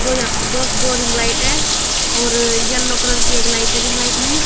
दो यहां पर दो दो रिंग लाइट है और येलो कलर की एक लाइट है रिंग लाइट में।